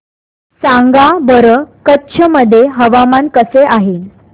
सांगा बरं कच्छ मध्ये हवामान कसे आहे